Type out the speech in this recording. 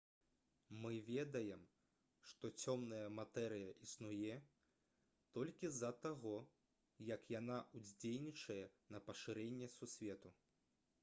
мы ведаем што цёмная матэрыя існуе толькі з-за таго як яна ўздзейнічае на пашырэнне сусвету